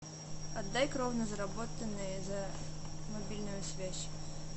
отдай кровно заработанные за мобильную связь